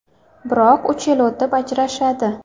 Biroq uch yil o‘tib ajrashadi.